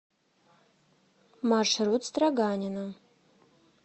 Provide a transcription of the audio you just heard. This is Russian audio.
маршрут строганина